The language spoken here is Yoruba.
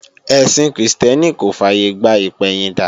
Ẹ̀sìn Krìstẹ́nì kò fàyègbà ìpẹ̀yìndà